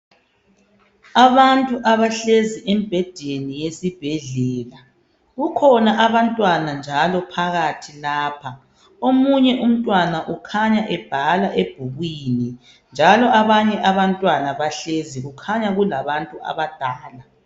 Abantu abahlezi emibhedeni yesibhedlela .Kukhona njalo abantwana phakathi lapha. Omunye umtwana ukhanya ebhala ebhukwini njalo abanye abantwana bahlezi, kukhanya kulabantu abadala.